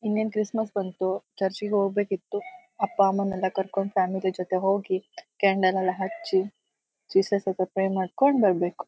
ಇನ್ನ್ ಏನೂ ಕ್ರಿಸ್ಮಸ್ ಬಂತು ಚರ್ಚ್ ಗೆ ಹೋಗಬೇಕಿತ್ತು ಅಪ್ಪ ಅಮ್ಮನ ಎಲ್ಲಾ ಕರಕೊಂಡಿ ಫ್ಯಾಮಿಲಿ ಜೊತೆ ಹೋಗಿ ಕ್ಯಾಂಡಲ್ ಎಲ್ಲಾ ಹಚ್ಚಿ ಜೀಸಸ್ ಹತ್ರ ಪ್ರೇ ಮಾಡಕೊಂಡಿ ಹೋಗಬೇಕು.